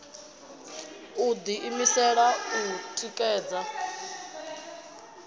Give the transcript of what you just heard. u ḓi imisela u ṋekedza